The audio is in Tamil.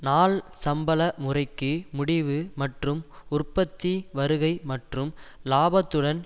நாள் சம்பள முறைக்கு முடிவு மற்றும் உற்பத்தி வருகை மற்றும் இலாபத்துடன்